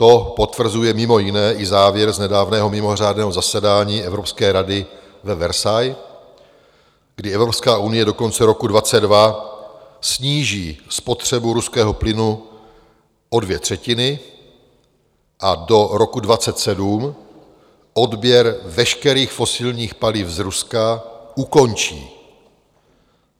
To potvrzuje mimo jiné i závěr z nedávného mimořádného zasedání Evropské rady ve Versailles, kdy Evropská unie do konce roku 2022 sníží spotřebu ruského plynu o dvě třetiny a do roku 2027 odběr veškerých fosilních paliv z Ruska ukončí.